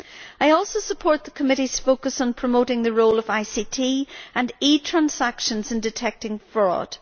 I also support the committee's focus on promoting the role of ICT and e transactions in detecting fraud.